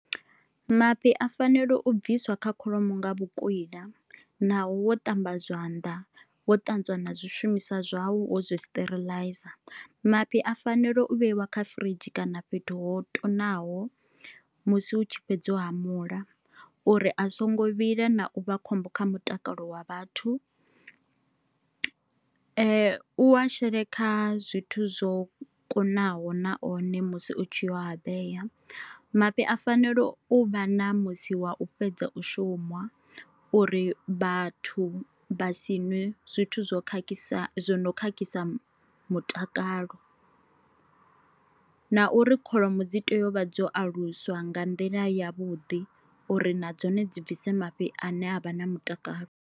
Mafhi a fanele u bviswa kha kholomo nga vhukwila naho wo ṱamba zwanḓa wo ṱanzwa na zwishumisa zwau wo zwo sterilize, mafhi a fanela u vheiwa kha firidzhi kana fhethu ho tonaho musi hu tshi fhedzwa u hamula uri a songo vhila na u vha khombo kha mutakalo wa vhathu, u a shele kha zwithu zwo kunaho na one musi utshi a vhea. Mafhi a fanelo u u vha na musi wa u fhedza u shuma uri vhathu vhasi ṅwe zwithu zwo khakhisa zwo no khakhisa mutakalo, na uri kholomo dzi tea u vha dzo aluswa nga nḓila ya vhuḓi uri na dzone dzi bvise mafhi ane avha na mutakalo.